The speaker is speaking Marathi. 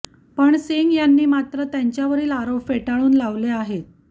पण सिंग यांनी मात्र त्यांच्यावरील आरोप फेटाळून लावले आहेत